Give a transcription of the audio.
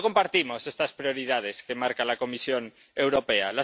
No compartimos estas prioridades que marca la Comisión Europea.